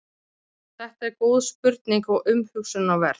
Þetta er góð spurning og umhugsunarverð.